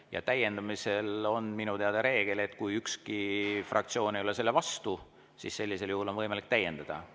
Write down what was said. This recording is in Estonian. Ja täiendamisel on minu teada reegel, et kui ükski fraktsioon ei ole vastu, siis sellisel juhul on võimalik päevakorda täiendada.